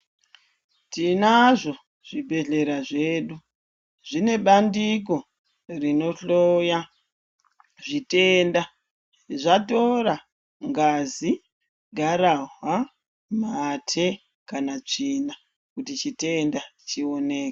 Tinazvo zvibhedhlera zvedu zvine bandiko rinohloya zvitenda zvatora ngazi garahwa mate kana tsvina kuti chitenda chionekwe.